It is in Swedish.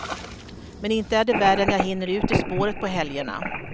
Men inte är det värre än att jag hinner ut i spåret på helgerna.